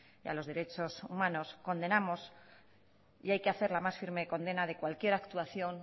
y a los derechos humanos condenamos y hay que hacer la más firme condena de cualquier actuación